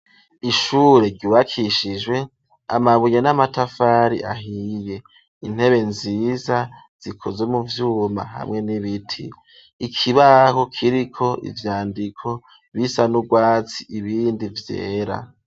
Ishure rubakishijwe amabuye n'amatafari ahiye, intebe nziza zikoze mu vyuma hamwe n'ibiti; ikibaho kiriko ivyandiko bisa n'urwatsi ibindi vyera.